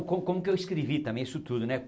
Como como que eu escrevi também isso tudo, né?